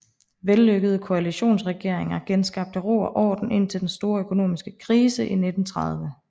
Vellykkede koalitionsregeringer genskabte ro og orden indtil den store økonomiske krise i 1930